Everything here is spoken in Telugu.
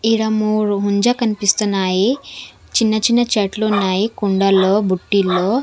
ఈడ మూడు ముంజ కనిపిస్తున్నాయి చిన్న చిన్న చెట్లు ఉన్నాయి కుండలో బుట్టిలో.